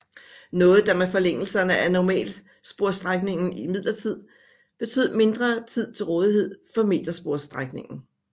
Noget der med forlængelserne af normalsporsstrækningen imidlertid betød mindre tid til rådighed for metersporsstrækningen